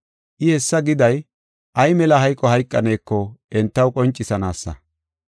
I hessa giday ay mela hayqo hayqaneko entaw qoncisanaasa.